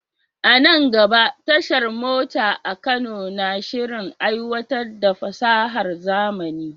A nan gaba, tashar mota a Kano na shirin aiwatar da fasahar zamani.